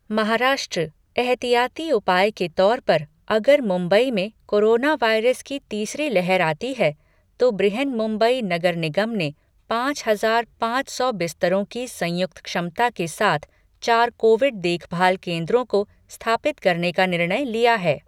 महाराष्ट्रः एहतियाती उपाय के तौर पर, अगर मुंबई में कोरोनावायरस की तीसरी लहर आती है तो बृहन्मुंबई नगर निगम ने पाँच हजार पाँच सौ बिस्तरों की संयुक्त क्षमता के साथ चार कोविड देखभाल केन्द्रों को स्थापित करने का निर्णय लिया है।